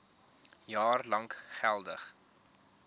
jaar lank geldig